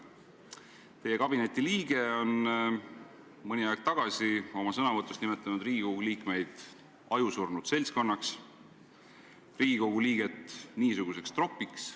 Üks teie kabineti liige nimetas mõni aeg tagasi oma sõnavõtus Riigikogu liikmeid ajusurnud seltskonnaks ja Riigikogu liiget tropiks.